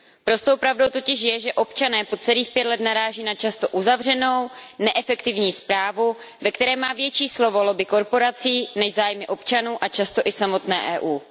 Prostou pravdou totiž je, že občané po celých pět let naráží na často uzavřenou, neefektivní správu, ve které má větší slovo lobby korporací než zájmy občanů a často i samotné EU.